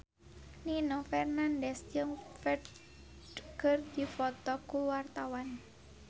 Nino Fernandez jeung Ferdge keur dipoto ku wartawan